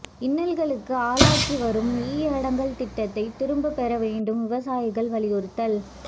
இன்னல்களுக்கு ஆளாக்கி வரும் இ அடங்கல் திட்டத்தை திரும்ப பெற வேண்டும் விவசாயிகள் வலியுறுத்தல்